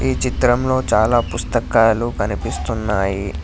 ఈ చిత్రంలో చాలా పుస్తకాలు కనిపిస్తున్నాయి.